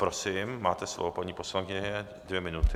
Prosím, máte slovo, paní poslankyně, dvě minuty.